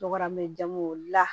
Tɔgɔ mɛn jamuw la